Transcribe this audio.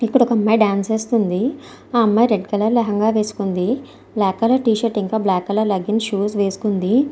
ఇక్కడ ఒక అమ్మాయి డాన్స్ వేస్తుంది. ఆ అమ్మాయి రెడ్ కలర్ లెహంగా వేసుకుంది. బ్లాక్ కలర్ టీ షర్ట్ ఇంకా బ్లాక్ కలర్ లెగ్గిన్ను షూస్ వేసుకుని ఉంది.